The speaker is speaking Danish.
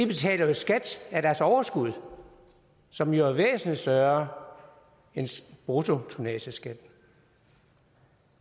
betaler jo skat af deres overskud som er væsentlig større end bruttotonnageskatten